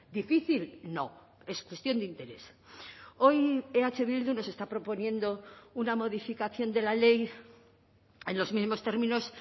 difícil no es cuestión de interés hoy eh bildu nos está proponiendo una modificación de la ley en los mismos términos